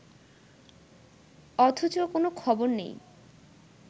অথচ কোনো খবর নেই